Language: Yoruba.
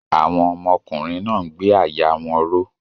Àwọn ọmọkùnrin náà ń gbé àyà wọn ró.